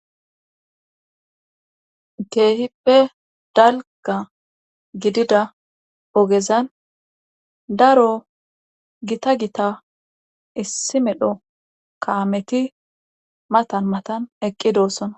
Keehippe dalga gidida ogezan daro gita gita issi medho kaameti matan matan eqqidossona.